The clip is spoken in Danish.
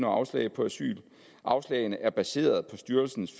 afslag på asyl afslagene er baseret på styrelsens